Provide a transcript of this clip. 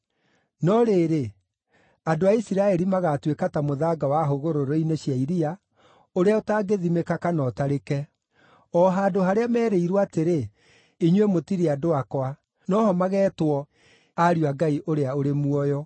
“No rĩrĩ, andũ a Isiraeli magaatuĩka ta mũthanga wa hũgũrũrũ-inĩ cia iria, ũrĩa ũtangĩthimĩka kana ũtarĩke. O handũ harĩa merĩirwo atĩrĩ, ‘Inyuĩ mũtirĩ andũ akwa’, no ho mageetwo ‘ariũ a Ngai ũrĩa ũrĩ muoyo’.